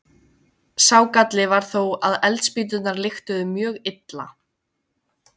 Sá galli var þó að eldspýturnar lyktuðu mjög illa.